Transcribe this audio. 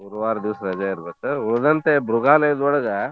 ಗುರುವಾರ್ ದೀವ್ಸ್ ರಜೆ ಇರ್ಬೇಕ್ ಉಳ್ದಂತೆ ಮೃಗಾಲಯದೋಳ್ಗ.